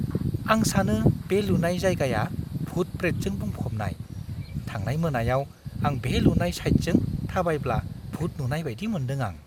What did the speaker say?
आं सानो बे लुनाय जायगाया भुट-प्रेतजों बुंफबनाय। थांनाय मोनायाव आं बे लुनाय साइटजों थाबायब्ला भुट नुबाय बायदि मोनदों आं।